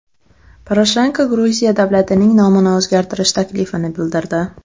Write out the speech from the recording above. Poroshenko Gruziya davlatining nomini o‘zgaritish taklifini bildirdi.